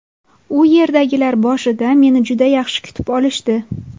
U yerdagilar boshida meni juda yaxshi kutib olishdi.